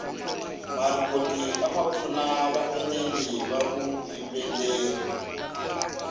marikoti amapfuna vaenili vavuyimbeleri